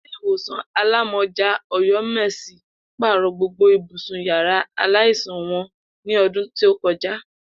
Ilé ìwòsàn alámó̩jà Ò̩yó̩mèsì pàrò̩ gbogbo ibùsùn yàrá aláìsàn wo̩n ní o̩dún tí ó ko̩já